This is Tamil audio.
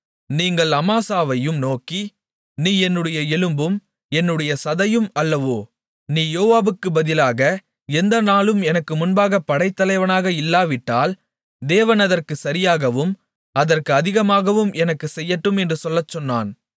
நீங்கள் அமாசாவையும் நோக்கி நீ என்னுடைய எலும்பும் என்னுடைய சதையும் அல்லவோ நீ யோவாபுக்குப் பதிலாக எந்த நாளும் எனக்கு முன்பாகப் படைத்தலைவனாக இல்லாவிட்டால் தேவன் அதற்குச் சரியாகவும் அதற்கு அதிகமாகவும் எனக்குச் செய்யட்டும் என்று சொல்லச்சொன்னான்